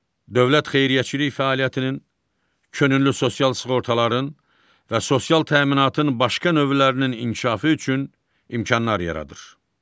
Dövlət xeyriyyəçilik fəaliyyətinin, könüllü sosial sığortaların və sosial təminatın başqa növlərinin inkişafı üçün imkanlar yaradır.